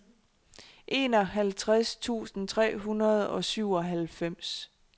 enoghalvtreds tusind tre hundrede og syvoghalvfems